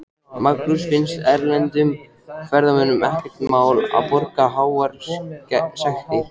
Magnús: Finnst erlendum ferðamönnum ekkert mál að borga háar sektir?